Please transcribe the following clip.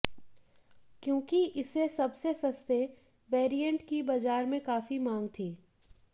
क्योंकि इसे सबसे सस्ते वैरियंट की बाजार में काफी मांग थी